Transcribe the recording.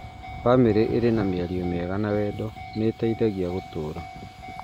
Bamĩrĩ ĩrĩ na mĩario mĩega na wendo nĩ ĩteithagia gũtũũria